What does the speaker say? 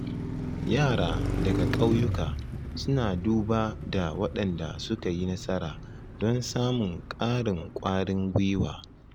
Yara daga ƙauyuka suna duba da waɗanda suka yi nasara don samun ƙarin ƙwarin gwiwa